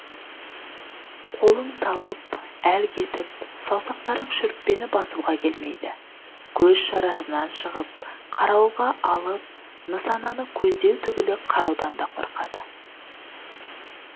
қолың талып әл кетіп саусақтарың шүріппені басуға келмейді көз шарасынан шығып қарауылға алып нысананы көздеу түгілі қараудан да қорқады